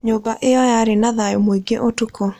Nyũmba ĩyo yarĩ na thayũ mũingĩ ũtukũ.